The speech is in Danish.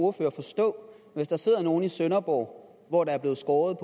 ordfører forstå hvis der sidder nogle i sønderborg hvor der er blevet skåret